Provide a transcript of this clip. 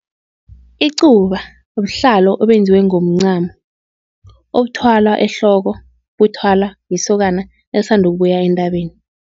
Icuba buhlalo obenzwe ngomncamo, obuthwalwa ehloko buthwala lisokana elisandukubuya entabeni.